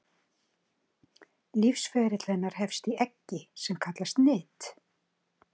Lífsferill hennar hefst í eggi sem kallað er nit.